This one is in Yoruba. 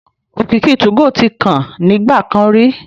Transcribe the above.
Òkìkí 2go tí kan nígbà kan rí